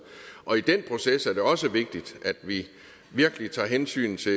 og i den proces er det også vigtigt at vi virkelig tager hensyn til